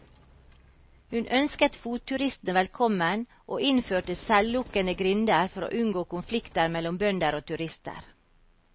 Hun ønsket fotturistene velkommen, og innførte selvlukkende grinder for å unngå konflikter mellom bønder og turister.